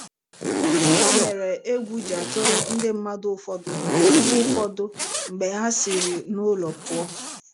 Gịnị mere egwu ji atụrụ ndị mmadụ ụfọdụ mgbe ụfọdụ mgbe ha siri n'ụlọ pụọ?